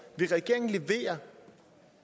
vil regeringen levere